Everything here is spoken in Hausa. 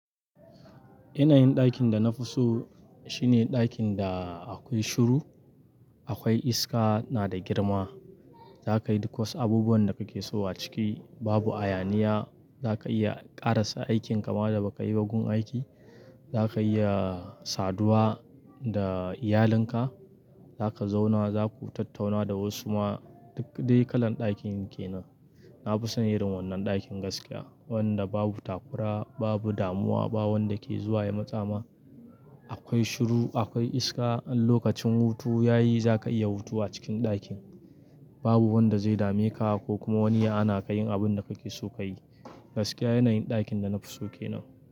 Yanayin ɗakin da na fi so shine ɗakin da akwai shuru, akwai iska, na da girma. Za ka yi duk wasu abubuwan da kake so a ciki, babu hayaniya. Za ka iya ƙarasa aikin kama da ba ka yi bagun aiki. Za ka iya saduwa da iyalinka. Za ka zauna, za ku tattauna da wasu ma, duk dai kalan ɗakin ke nan. Na fi son irin wannan ɗakin gaskiya wanda babu takura, babu damuwa, ba wanda ke zuwa ya matsa ma. Akwai shuru, akwai iska. In lokacin hutu ya yi, za ka iya hutu a cikin ɗakin. Babu wanda zai dame ka ko kuma wani ya hana ka yin abin da kake so ka yi. Gaskiya yanayin ɗakin da na fi so ke nan.